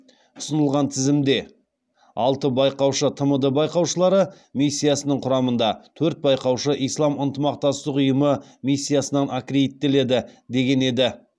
ұсынылған тізімде алты байқаушы тмд байқаушылары миссиясының құрамында төрт байқаушы ислам ынтымақтастық ұйымы миссиясынан аккредиттеледі деген еді